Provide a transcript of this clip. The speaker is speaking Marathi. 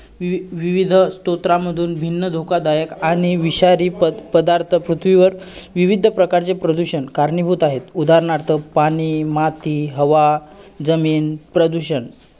अ त्यांचं कोणतं गाणं आवडतं.